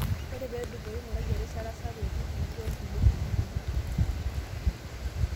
Ore peedupoyu ing'urae erishata sapuk e TPD onkulie shugulini.